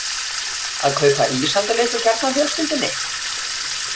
Að kaupa ís handa litlu kjarnafjölskyldunni?